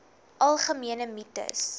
algemene mites